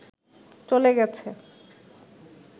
চলে গেছে